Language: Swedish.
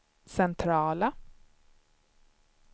centrala